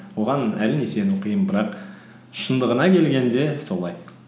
оған әрине сену қиын бірақ шындығына келгенде солай